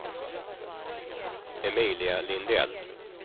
Emilia Lindell